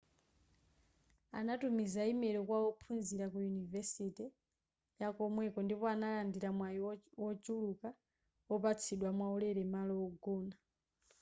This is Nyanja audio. anatumiza imelo kwa ophunzira ku yunivesite yakomweko ndipo analandira mwayi wochuluka wopatsidwa mwaulere malo ogona